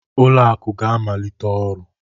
Ụlọ akụ ga-amalite ọrụ